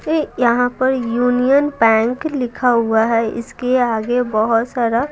यहां पर Union Bank लिखा हुआ है इसके आगे बहुत सारा--